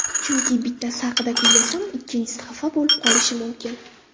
Chunki, bittasi haqida kuylasam ikkinchisi xafa bo‘lib qolishi mumkin.